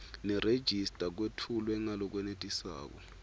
nerejista kwetfulwe ngalokwenetisako